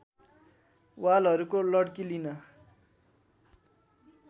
वालहरूको लड्की लिन